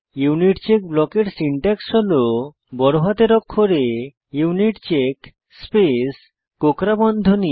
unit check ব্লকের syntax হল বড় হাতের অক্ষরে ইউনিটচেক স্পেস কোঁকড়া বন্ধনী